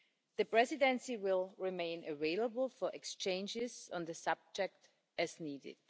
The Presidency will remain available for exchanges on the subject as needed.